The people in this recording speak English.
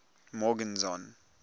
morgenzon